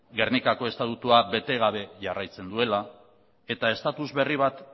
gernikako estatutua bete gabe jarraitzen duela eta status berri bat